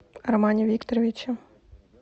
армане викторовиче